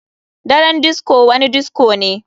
Daren disco wani disco ne.